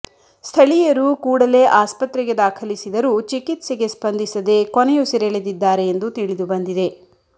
ಸ್ಥಳೀಯರು ಕೂಡಲೇ ಆಸ್ಪತ್ರೆಗೆ ದಾಖಲಿಸಿದರೂ ಚಿಕಿತ್ಸೆಗೆ ಸ್ಪಂದಿಸದೆ ಕೊನೆಯುಸಿರೆಳೆದಿದ್ದಾರೆ ಎಂದು ತಿಳಿದು ಬಂದಿದೆ